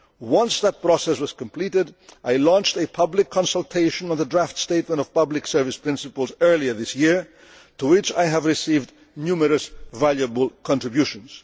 views. Once that process was completed I launched a public consultation on the draft statement of public service principles earlier this year, to which I have received numerous valuable contributions.